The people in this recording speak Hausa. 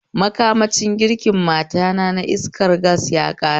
Makamashin girkin matata na iskar gas yaƙare